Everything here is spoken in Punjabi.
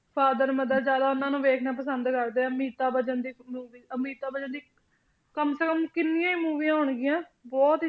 father, mother ਜ਼ਿਆਦਾ ਉਹਨਾਂ ਨੂੰ ਵੇਖਣਾ ਪਸੰਦ ਕਰਦੇ ਆ, ਅਮਿਤਾਬ ਬੱਚਨ ਦੀ movie ਅਮਿਤਾਬ ਬੱਚਨ ਦੀ ਕਮ ਸੇ ਕਮ ਕਿੰਨੀਆਂ ਹੀ ਮੂਵੀਆਂ ਹੋਣਗੀਆਂ ਬਹੁਤ ਹੀ